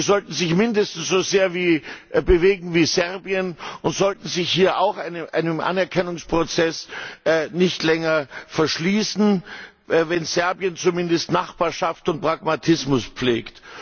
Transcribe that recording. Sie sollten sich mindestens so sehr bewegen wie Serbien und sollten sich hier auch einem Anerkennungsprozess nicht länger verschließen, wenn Serbien zumindest Nachbarschaft und Pragmatismus pflegt.